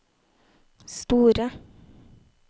store